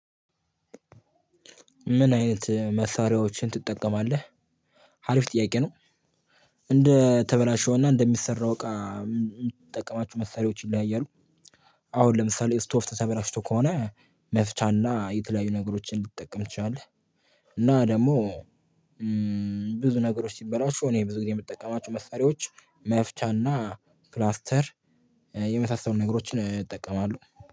ምን አይነት መሳሪያዎችን ትጠቀማለህ? ሀሪፍ ጥያቄ ነው። እንደ ተበላሸውና እንደሚሰራው እቃ የምጠቀማቸው መሳሪያዎች ይለያያሉ። አሁን ለምሳሌ ስቶቭ ተበላሽቶ ከሆነ መፍቻና የተለያዩ ነገሮችን ልትጠቀም ትችላለህ። እና ደግሞ ብዙ ነገሮች ሲበላሹ እኔ ብዙ ጊዜ የምጠቀማቸው መሳሪያዎች መፍቻና ፕላስተር የመሳሰሉ ነገሮችን እጠቀማለሁ።